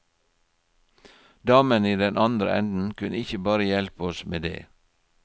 Damen i den andre enden kunne ikke bare hjelpe oss med det.